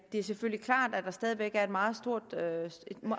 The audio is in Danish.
er selvfølgelig klart at der stadig væk er meget